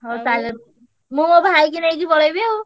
ମୁଁ ମୋ ଭାଇକି ନେଇକି ପଳେଇବି ଆଉ।